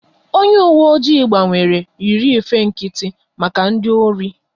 Onye uwe oji gbanwere, yiri efe nkịtị maka ndị ori